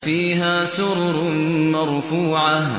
فِيهَا سُرُرٌ مَّرْفُوعَةٌ